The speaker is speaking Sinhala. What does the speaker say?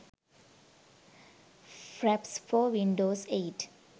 fraps for windows 8